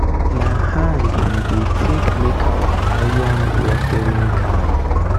na hand we dey take make our iron watering can.